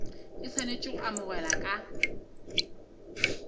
e swanetše go amogela le